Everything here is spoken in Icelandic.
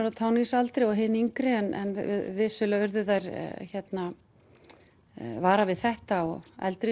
á táningsaldri og hin yngri en vissulega urðu þær varar við þetta og eldri